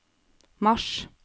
mars